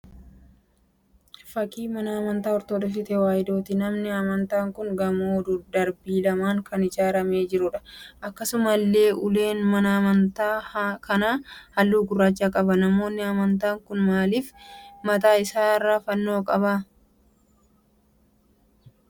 Fakkii mana amantaa 'Ortodoksi Tewaayidooti' Manni amantaa kun gamoo darbii lamaan kan ijaaramee jiruudha. Akkasumallee ulaan mana amantaa kanaa halluu gurraacha qaba. manni amantaa kun maaliif mataa isaarraa fannoo dhabe?